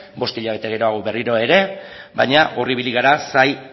bost hilabete geroago berriro ere baina hor ibili gara zain